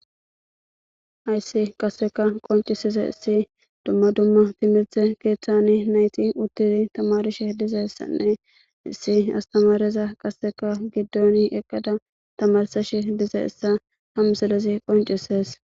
ayssi qasseka qoncisize issi dumma dumma timirthe keeththani nayti uttidi tamarishe dize issanne issi astamareza qasseka giddon eqqada tamarsash dize issa hamselezi qoncises